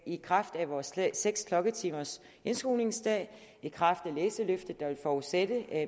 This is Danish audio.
i kraft af vores seks klokketimers indskolingsdag i kraft af læseløftet der vil forudsætte